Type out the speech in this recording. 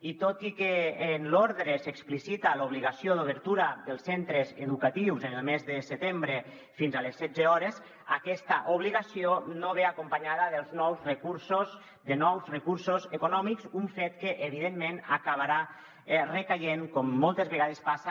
i tot i que en l’ordre s’explicita l’obligació d’obertura dels centres educatius el mes de setembre fins a les setze hores aquesta obligació no ve acompanyada de nous recursos econò·mics un fet que evidentment acabarà recaient com moltes vegades passa